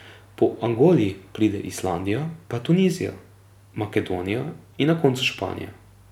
Po Angoli pride Islandija, pa Tunizija, Makedonija in na koncu Španija.